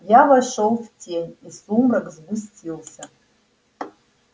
я вошёл в тень и сумрак сгустился